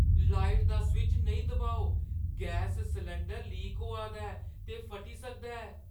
Light दा switch नेईं दबाओ। गैस सलैंडर लीक होआ दा ऐ ते फटी सकदा ऐ।